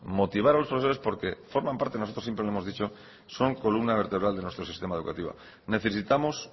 motivar a los profesores porque forman parte porque forman parte nosotros siempre lo hemos dicho son columna vertebral de nuestro sistema educativo necesitamos